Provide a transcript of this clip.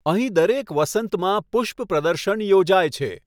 અહીં દરેક વસંતમાં પુષ્પ પ્રદર્શન યોજાય છે.